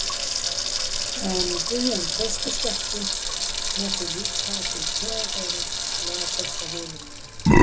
En Guðjón treystist ekki, með því líka að frú Theodóra las eitthvað yfir honum.